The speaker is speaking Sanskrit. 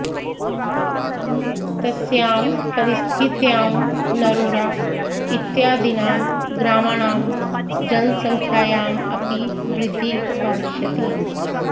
तस्यां परिस्थित्यां नरोडा इत्यादीनां ग्रामाणां जनसङ्ख्यायाम् अपि वृद्धिः भविष्यति